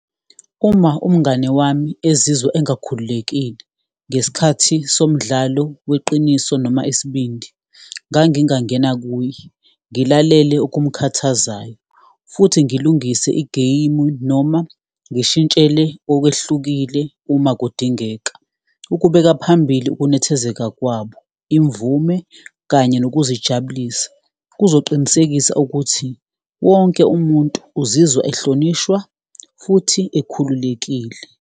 Uma umngani wami ezizwa engakhululekile ngesikhathi somdlalo weqiniso noma isibindi, ngangingangena kuye, ngilalele okumkhathazayo, futhi ngilungise igeyimu noma ngishintshele kokwehlukile uma kudingeka. Ukubeka phambili ukunethezeka kwabo, imvume kanye nokuzijabulisa kuzoqinisekisa ukuthi wonke umuntu uzizwa ehlonishwa futhi ekhululekile.